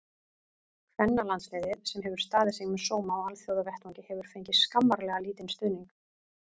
Kvennalandsliðið, sem hefur staðið sig með sóma á alþjóðavettvangi, hefur fengið skammarlega lítinn stuðning.